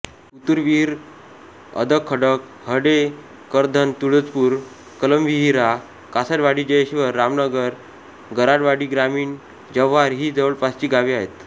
कुतुरविहीर अदखडक हडे करधण तुळजपूर कलमविहीरा कासटवाडीजयेश्वर रामनगर गराडवाडीग्रामीणजव्हार ही जवळपासची गावे आहेत